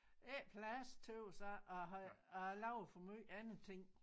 Ikke plads tøs jeg og har og jeg laver for måj andre ting